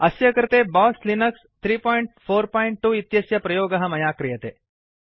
अस्य कृते BOSS Linux 342 इत्यस्य प्रयोगः मया क्रियते